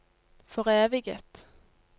foreviget